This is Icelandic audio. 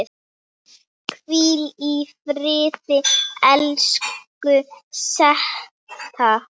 Hvíl í friði, elsku Setta.